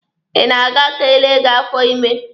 Ị na-aga ka e lee gị afọ ime?